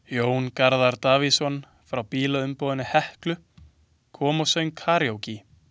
Jón Garðar Davíðsson frá bílaumboðinu Heklu kom og söng karókí.